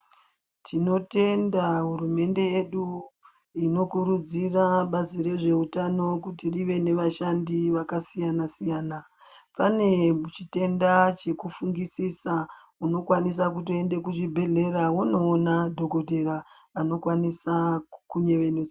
Tinotenda hurumende yedu inokurudzira bazi rezveutano kuti rive nevashandi vakasiyana siyana pane chitenda chekufungisisa unokwanisa kutoenda kuchibhedhlera unoona dhokodheya anokwanisa kukunyevenudza.